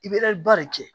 I bɛ ba de kɛ